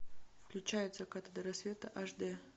включай от заката до рассвета аш дэ